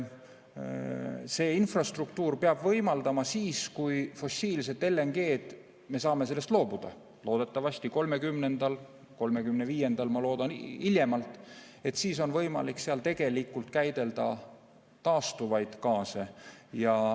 See infrastruktuur peab võimaldama siis, kui me fossiilsest LNG-st saame loobuda loodetavasti 2030. aastal või hiljemalt 2035. aastal, siis on võimalik seal käidelda taastuvaid gaase.